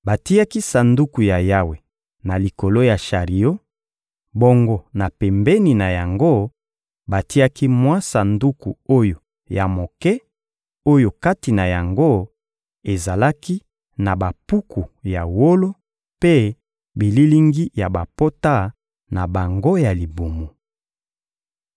Batiaki Sanduku ya Yawe na likolo ya shario; bongo na pembeni na yango, batiaki mwa sanduku oyo ya moke, oyo kati na yango ezalaki na bampuku ya wolo mpe bililingi ya bapota na bango ya libumu.